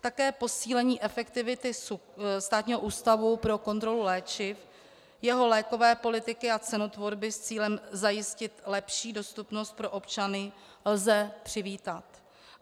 Také posílení efektivity Státního ústavu pro kontrolu léčiv, jeho lékové politiky a cenotvorby s cílem zajistit lepší dostupnost pro občany lze přivítat.